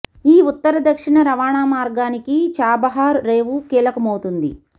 ఈ ఉత్తర దక్షిణ రవాణా మార్గానికి చాబహార్ రేవు కీలకమవుతుంది